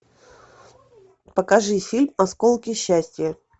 покажи фильм осколки счастья